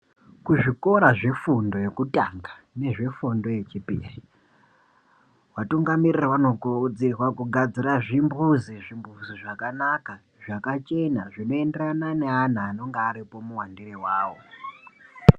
Kuzvikora zvefundo yekutanga nezvefundo yechipir,i vatungamirara vanokurudzirwa kugadzira zvimbuzi, zvimbuzi zvakanaka, zvakachena ,zvinoenderana neana anenga aripo muwandire wawo.